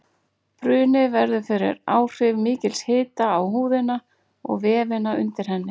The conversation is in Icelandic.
Bruni verður fyrir áhrif mikils hita á húðina og vefina undir henni.